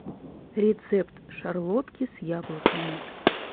рецепт шарлотки с яблоками